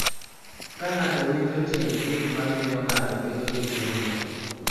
Ka ng�ato winjo tiend gik ma miyo ng�ato bedo gi timno,